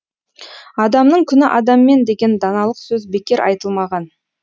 адамның күні адаммен деген даналық сөз бекер айтылмаған